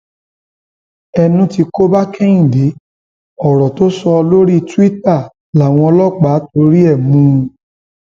ẹnu tí kò bá kẹhìndé ọrọ tó sọ lórí túìta làwọn ọlọpàá torí ẹ mú un